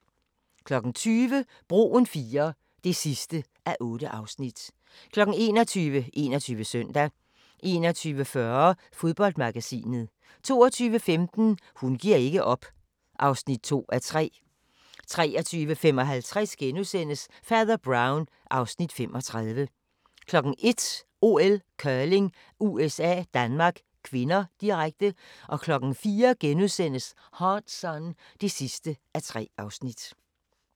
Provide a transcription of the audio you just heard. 20:00: Broen IIII (8:8) 21:00: 21 Søndag 21:40: Fodboldmagasinet 22:15: Hun giver ikke op (2:3) 23:55: Fader Brown (Afs. 35)* 01:00: OL: Curling - USA-Danmark (k), direkte 04:00: Hard Sun (3:3)*